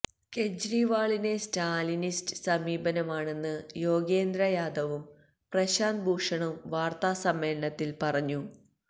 കേജ്രിവാളിന് Stalinist സമീപനമാണെന്ന് യോഗേന്ദ്ര യാദവും പ്രശാന്ത് ഭൂഷണും വാര്ത്താ സമ്മേളനത്തില് പറഞ്ഞു